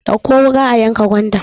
Dauƙo wuka a yanka gwandar!